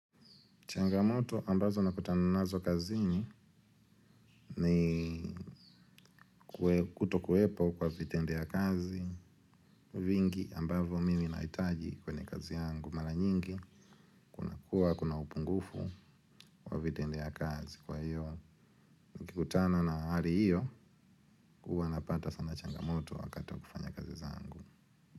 Changamoto ambazo nakutana nazo kazi ni kutokuwepo kwa vitende ya kazi vingi ambazo mimi nahitaji kwenye kazi yangu mara nyingi kuwa kuna upungufu kwa vitende ya kazi kwa hiyo. Nikikutana na hali hiyo huwa napata sana changamoto wakati wa kufanya kazi zangu.